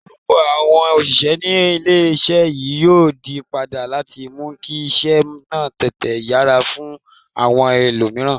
Orúkọ àwọn òṣìṣẹ́ ní ilé-iṣẹ́ yìí yóò yí padà láti mú kí iṣẹ́ náà tètè yára fún àwọn ẹlòmíràn